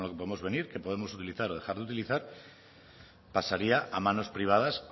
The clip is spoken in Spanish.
con lo que podemos venir que podemos utilizar o dejar de utilizar pasaría a manos privadas